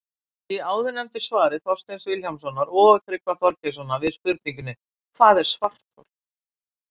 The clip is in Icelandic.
Í áðurnefndu svari Þorsteins Vilhjálmssonar og Tryggva Þorgeirssonar við spurningunni Hvað er svarthol?